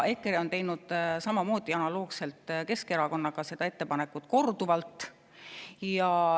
EKRE on teinud samamoodi analoogselt Keskerakonnaga seda ettepanekut korduvalt.